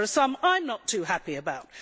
There are some that I am not too happy about.